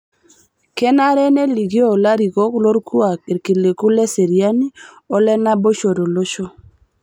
Kenare nelikioo larikok lorkuak ilkiliku leseriani o lenaboisho tolosho.